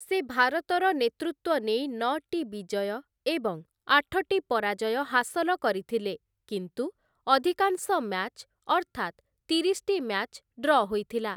ସେ ଭାରତର ନେତୃତ୍ୱ ନେଇ ନଅଟି ବିଜୟ ଏବଂ ଆଠଟି ପରାଜୟ ହାସଲ କରିଥିଲେ କିନ୍ତୁ ଅଧିକାଂଶ ମ୍ୟାଚ୍ ଅର୍ଥାତ ତିରିଶଟି ମ୍ୟାଚ୍‌ ଡ୍ର ହୋଇଥିଲା ।